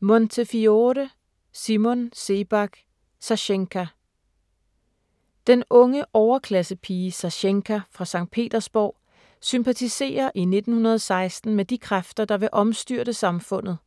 Montefiore, Simon Sebag: Sasjenka Den unge overklassepige Sasjenka fra Skt. Petersborg sympatiserer i 1916 med de kræfter, der vil omstyrte samfundet.